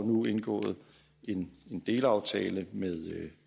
nu er indgået en delaftale med